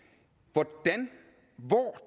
hvor